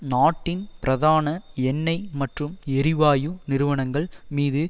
நாட்டின் பிரதான எண்ணெய் மற்றும் எரிவாயு நிறுவனங்கள் மீது